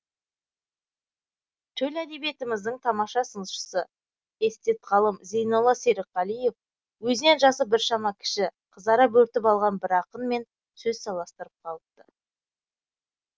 төл әдебиетіміздің тамаша сыншысы эстет ғалым зейнолла серікқалиев өзінен жасы біршама кіші қызара бөртіп алған бір ақынмен сөз таластырып қалыпты